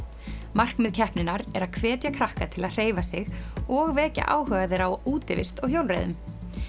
markmið keppninnar er að hvetja krakka til að hreyfa sig og vekja áhuga þeirra á útivist og hjólreiðum